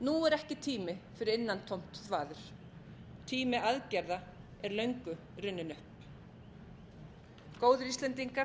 nú er ekki tími fyrir innantómt þvaður tími aðgerða er löngu runninn upp góðir íslendingar